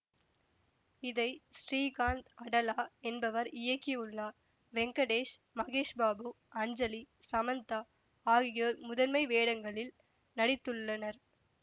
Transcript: இதை ஸ்ரீகாந்து அடலா என்பவர் இயக்கியுள்ளார் வெங்கடேஷ் மகேஷ் பாபு அஞ்சலி சமந்தா ஆகியோர் முதன்மை வேடங்களில் நடித்துள்ளனர்